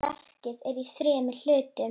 Verkið er í þremur hlutum.